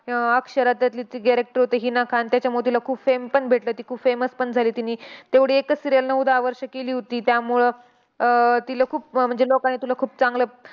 अह अक्षराचं जे character होतं हिना खान, त्याच्यामुळे तिला खूप fame पण भेटला. ती खूप famous पण झाली. तिने तेवढी एकच serial नऊ-दहा वर्ष केली होती. त्यामुळं अह तिला खूप म्हणजे लोकांनी तिला खूप चांगलं